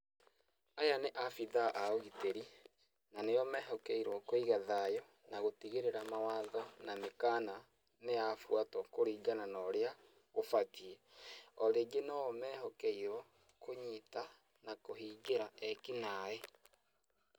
Aya nĩ abithaa a ũgitĩri na nĩo mehokeirwo kũiga thayũ na gũtigĩrĩrĩra mawatho na mĩkana nĩyabuatwo kũringana na ũrĩa gũbatiĩ. O rĩngĩ no o mehokeirwo kũnyita na kũhingĩra ekinaĩ.